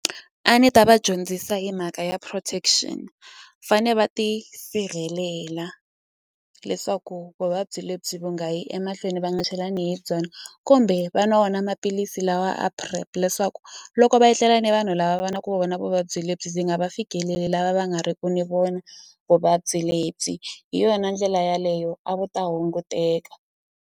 A ni ta va dyondzisa hi mhaka ya protection fane va ti sirhelela leswaku vuvabyi lebyi va nga yi emahlweni va nga chelani hi byona kumbe va nwa wona maphilisi masi lawa a PrEP leswaku loko va etlela ni vanhu lava va na ku va vona vuvabyi lebyi byi nga va fikeleli lava va nga riku ni vona vuvabyi lebyi hi yona ndlela yaleyo a va ta hunguteka.